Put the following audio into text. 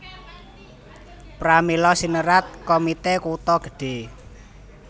Pramila sinerat Komite Kutha Gedhe